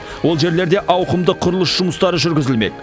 ол жерлерде ауқымды құрылыс жұмыстары жүргізілмек